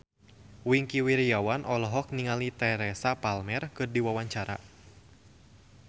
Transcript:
Wingky Wiryawan olohok ningali Teresa Palmer keur diwawancara